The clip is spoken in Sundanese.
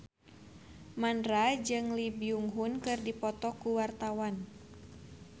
Mandra jeung Lee Byung Hun keur dipoto ku wartawan